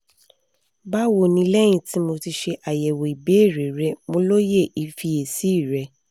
bawo ni lẹhin ti mo ti ṣe ayẹwo ibeere rẹ mo loye ifiyesi rẹ